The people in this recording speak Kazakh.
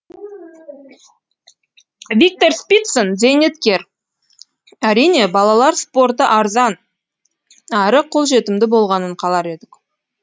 виктор спицын зейнеткер әрине балалар спорты арзан әрі қолжетімді болғанын қалар едік